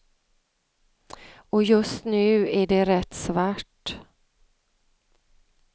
Och just nu är det rätt svart.